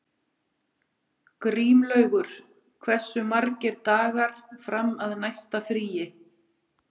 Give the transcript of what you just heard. Grímlaugur, hversu margir dagar fram að næsta fríi?